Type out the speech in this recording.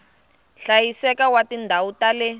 hlayiseka wa tindhawu ta le